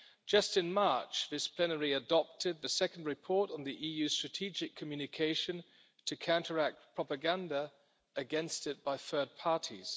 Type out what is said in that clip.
Just in March, this plenary adopted the second report on the EU's strategic communication to counteract propaganda against it by third parties.